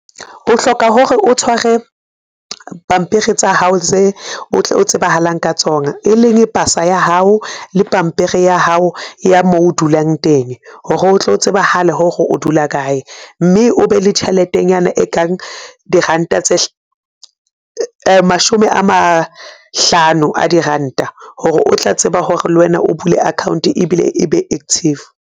O hloka hore o tshware pampiri tsa hao tse o tle o tsebahalang ka tsona, e leng pasa ya hao le pampiri ya hao ya moo o dulang teng hore o tlo tsebahale hore o dula kae. Mme o be le tjheletenyana e kang diranta tse mashome a mahlano a diranta, hore o tla tseba hore le wena o bule account ebile e be active.